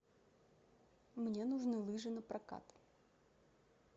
мне нужны лыжи на прокат